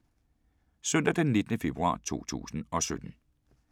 Søndag d. 19. februar 2017